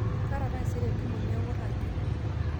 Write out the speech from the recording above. kaata taisere etntumo neeku ragie